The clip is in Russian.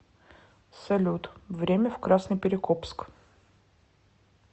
салют время в красноперекопск